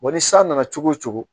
Wa ni san nana cogo o cogo